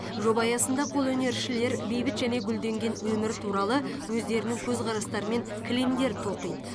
жоба аясында қолөнершілер бейбіт және гүлденген өмір туралы өздерінің көзқарастарымен кілемдер тоқиды